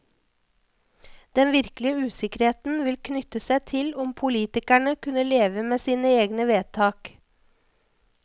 Den virkelige usikkerheten ville knytte seg til om politikerne kunne leve med sine egne vedtak.